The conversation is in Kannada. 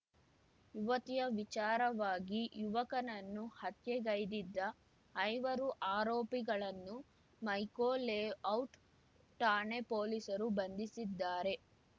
ಯುವತಿಯ ವಿಚಾರವಾಗಿ ಯುವಕನನ್ನು ಹತ್ಯೆಗೈದಿದ್ದ ಐವರು ಆರೋಪಿಗಳನ್ನು ಮೈಕೋ ಲೇಔಟ್‌ ಠಾಣೆ ಪೊಲೀಸರು ಬಂಧಿಸಿದ್ದಾರೆ